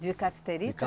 De cassiterita?